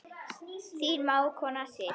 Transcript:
Þín mágkona Sif.